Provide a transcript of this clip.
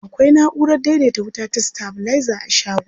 Akwai na'urar daidaita wuta ta sitabilaiza a shagon.